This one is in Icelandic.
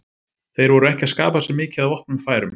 Þeir voru ekki að skapa sér mikið af opnum færum.